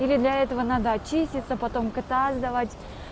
или для этого надо очиститься потом кота сдавать